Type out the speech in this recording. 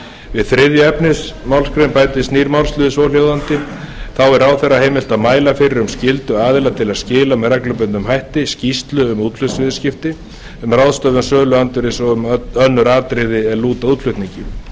við þriðju efnismgr bætist nýr málsliður svohljóðandi þá er ráðherra heimilt að mæla fyrir um skyldu aðila til að skila með reglubundnum hætti skýrslu um útflutningsviðskipti um ráðstöfun söluandvirðis og um önnur atriði er lúta að útflutningi